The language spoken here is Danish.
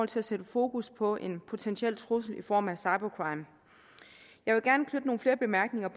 til at sætte fokus på en potentiel trussel i form af cybercrime jeg vil gerne knytte nogle flere bemærkninger